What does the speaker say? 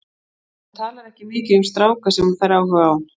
Hún talar ekki mikið um stráka sem hún fær áhuga á.